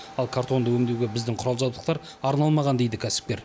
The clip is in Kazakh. ал картонды өңдеуге біздің құрал жабдықтар арналмаған дейді кәсіпкер